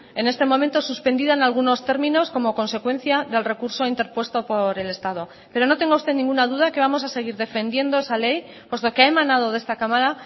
en este momento suspendida en algunos términos como consecuencia del recurso interpuesto por el estado pero no tenga usted ninguna duda que vamos a seguir defendiendo esa ley puesto que ha emanado de esta cámara